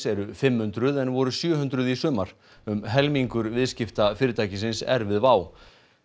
eru fimm hundruð en voru sjö hundruð í sumar um helmingur viðskipta fyrirtækisins er við WOW